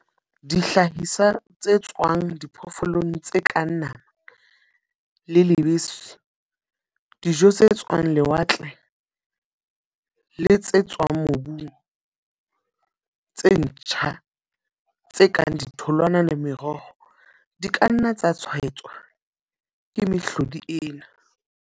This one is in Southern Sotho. Dihlahiswa tse tswang diphoofolong tse kang nama le lebese, dijo tse tswang lewatle le ditswamobung tse ntjha tse kang ditholwana le meroho, di ka nna tsa tshwaetswa ke mehlodi ena.